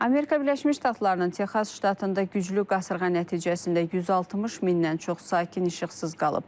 Amerika Birləşmiş Ştatlarının Texas ştatında güclü qasırğa nəticəsində 160 mindən çox sakin işıqsız qalıb.